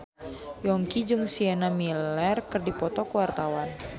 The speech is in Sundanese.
Yongki jeung Sienna Miller keur dipoto ku wartawan